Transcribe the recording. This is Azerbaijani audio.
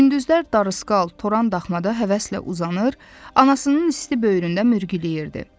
Gündüzlər darısqal toran daxmada həvəslə uzanır, anasının isti böyründə mürgüləyirdi.